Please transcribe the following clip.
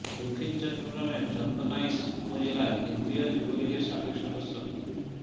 দক্ষিণ চট্টগ্রামের চন্দনাইশ উপজেলায় কেন্দ্রীয় যুবলীগের সাবেক সদস্য মো